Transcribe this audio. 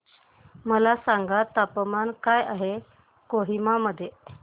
मला सांगा तापमान काय आहे कोहिमा मध्ये